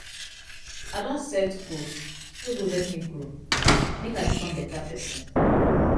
I don set goals wey go help me grow make I become beta pesin.